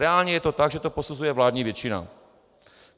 Reálně je to tak, že to posuzuje vládní většina.